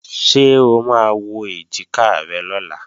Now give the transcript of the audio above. Ṣé o máa wọ́ èjìká rẹ lọ́la?